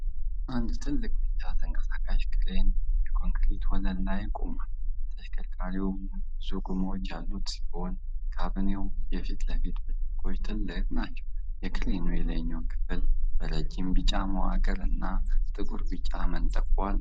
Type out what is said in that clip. አንድ ትልቅ ቢጫ ተንቀሳቃሽ ክሬን የኮንክሪት ወለል ላይ ቆሟል። ተሽከርካሪው ብዙ ጎማዎች ያሉት ሲሆን፣ ካቢኔው የፊት ለፊቱ ብርጭቆዎች ትልቅ ናቸው። የክሬኑ የላይኛው ክፍል በረጅም ቢጫ መዋቅር እና ጥቁርና ቢጫ መንጠቆ አለው።